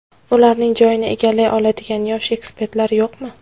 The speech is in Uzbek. Ularning joyini egallay oladigan yosh ekspertlar yo‘qmi?